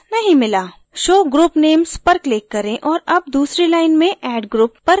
show group names पर click करें और add दूसरी line में dd group पर click करें